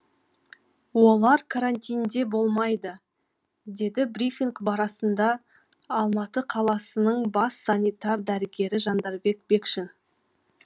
олар карантинде болмайды деді брифинг алматы қаласының бас санитар дәрігері жандарбек бекшин